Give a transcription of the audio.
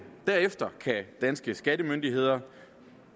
derefter kan danske skattemyndigheder